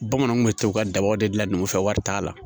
Bamananw kun bɛ to ka dabaw de dilan n'ufɛ wari t'a la